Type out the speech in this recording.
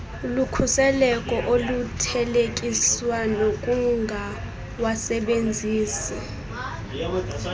lukhuseleko oluthelekiswa nokungawasebenzisi